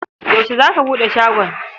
Yaushe za ka buɗe shagon?